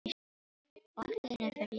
Og allt í einu fer ég að hlæja.